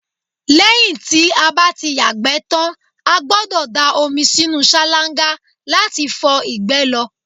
lẹ́yìn tí a bá ti yàgbẹ́ tan, a gbọ́dọ̀ da omi sínú sálángá láti fi fọ ìgbẹ́ lọ